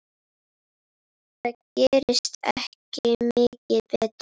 Það gerist ekki mikið betra.